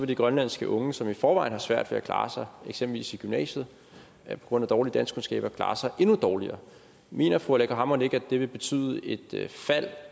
de grønlandske unge som i forvejen har svært ved at klare sig eksempelvis i gymnasiet på grund af dårlige danskkundskaber klare sig endnu dårligere mener fru aleqa hammond ikke at det vil betyde et fald